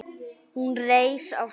Hún reis á fætur.